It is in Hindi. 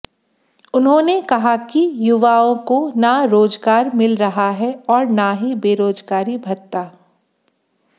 उन्होंने कहा कि युवाओं को ना रोजगार मिल रहा है और ना ही बेरोजगारी भत्ता